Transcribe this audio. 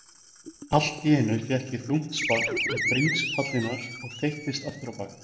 Allt í einu fékk ég þungt spark í bringspalirnar og þeyttist afturábak.